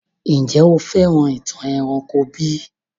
Njẹ̀ o fẹ́ràn ìtàn eranko bi?